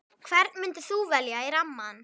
Hvern myndir þú velja í rammann?